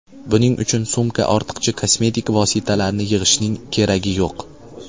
Buning uchun sumka ortiqcha kosmetik vositalarni yig‘ishning keragi yo‘q.